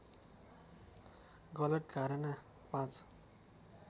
गलत धारणा ५